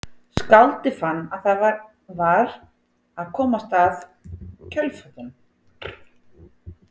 Skáldið fann að það var að komast að kjötkötlunum.